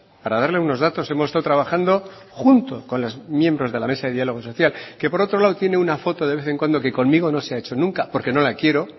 para darle unos datos hemos estado trabajando junto con los miembros de la mesa de diálogo social que por otro lado tiene una foto de vez en cuando que conmigo no se ha hecho nunca porque no la quiero